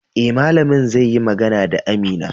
Eh, malamin zai yi magana da Amina